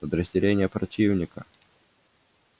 подразделения противника